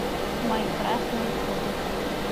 майнкрафт на ютубе